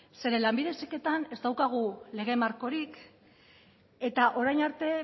zeren lanbide heziketan ez daukagu lege markorik eta orain arte